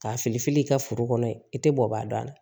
K'a fili fili i ka foro kɔnɔ i tɛ bɔ ba dɔn a la